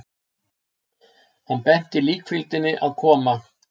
Hann benti líkfylgdinni að koma.